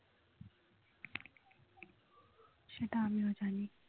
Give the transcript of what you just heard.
সেটা আমিও জানি